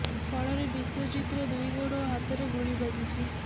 ଫଳରେ ବିଶ୍ୱଜିତର ଦୁଇ ଗୋଡ ଓ ହାତରେ ଗୁଳି ବାଜିଛି